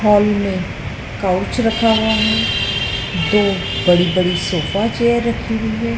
Hall में couch रखा हुआ है। दो बड़ी बड़ी सोफा चेयर रखी हुई है।